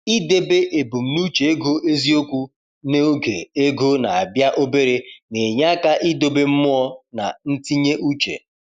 I debe ebumnuche ego eziokwu n’oge ego na-abịa obere na-enye aka idobe mmụọ na ntinye uche.